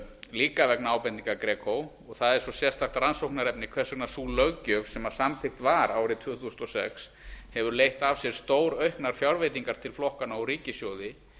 líka vegna ábendinga gegn og það er svo sérstakt rannsóknarefni hvers vegna sú löggjöf sem samþykkt var árið tvö þúsund og sex hefur leitt af sér stórauknar fjárveitingar til flokkanna úr ríkissjóði